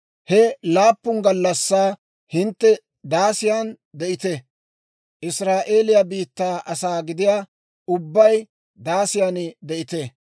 He laappun gallassaa hintte daasiyan de'ite; Israa'eeliyaa biittaa asaa gidiyaa ubbay daasiyan de'ite.